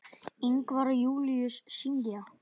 Ingvar og Júlíus syngja.